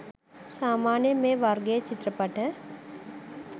සාමාන්‍යයෙන් මේ වර්ගයේ චිත්‍රපට